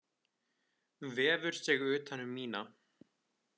Vefur sig utan um mína.